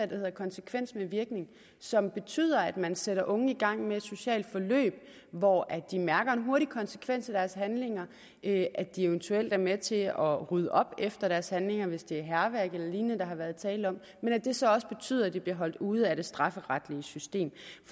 der hedder konsekvens med virkning som betyder at man sætter unge i gang med et socialt forløb hvor de mærker en hurtig konsekvens af deres handlinger nemlig at de eventuelt er med til at rydde op efter deres handlinger hvis det er hærværk eller lignende der har været tale om men at det så også betyder at de bliver holdt ude af det strafferetlige system